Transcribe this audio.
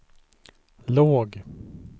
låg